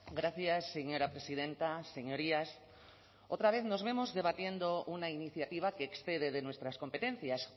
gracias señora presidenta señorías otra vez nos vemos debatiendo una iniciativa que excede de nuestras competencias